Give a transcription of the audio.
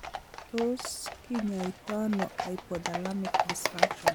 Tos kinyaitaiano hypothalamic dysfunction?